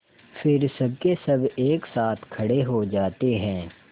फिर सबकेसब एक साथ खड़े हो जाते हैं